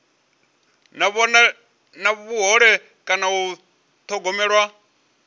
na vhuhole kana u thogomelwa